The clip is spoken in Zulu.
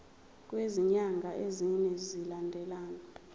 kwezinyanga ezine zilandelana